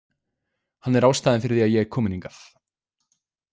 Hann er ástæðan fyrir því að ég er komin hingað.